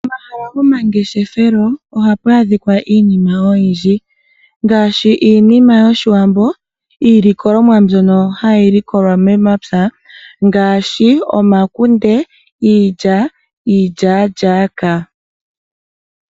Omahala gomangeshefelo ohapu adhika iinima oyindji ngaashi iinima yoshiwambo , iilikolonwa mbyoka hayi likolwa momapya ngaashi omakunde, iilya, iilyalyaka.